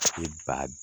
ba